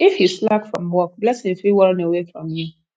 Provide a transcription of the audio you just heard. if you slack from work blessing fit won away from you